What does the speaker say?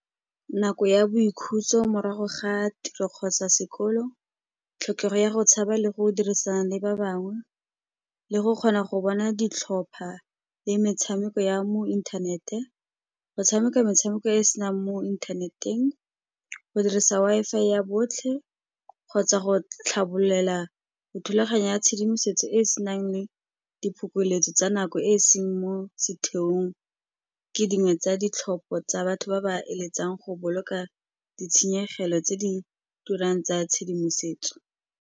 Nako ya boikhutso morago ga tiro kgotsa sekolo, tlhokego ya go tshaba le go dirisana le ba bangwe, le go kgona go bona ditlhopha le metshameko ya mo inthaneteng, go tshameka metshameko e e senang mo inthaneteng, go dirisa Wi-Fi ya botlhe, kgotsa go tlhabolela dithulaganyo ya tshedimosetso e e senang le diphokoletso tsa nako e e seng mo setheong, ke dingwe tsa ditlhopho tsa batho ba ba eletsang go boloka ditshenyegelo tse di turang tsa tshedimosetso.